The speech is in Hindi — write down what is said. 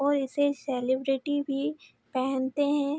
और इसे सेलेब्रिटी भी पहनते हैं।